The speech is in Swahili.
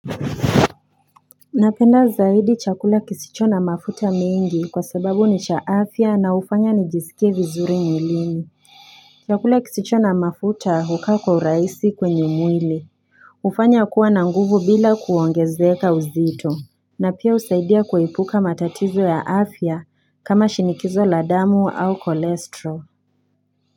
Napenda zaidi chakula kisicho na mafuta mingi kwa sababu ni cha afya na ufanya nijisikie vizuri mwilini Chakula kisicho na mafuta hukaa kwa uraisi kwenye mwili ufanya kuwa na nguvu bila kuongezeka uzito na pia usaidia kuepuka matatizo ya afya kama shinikizo la damu au cholesterol.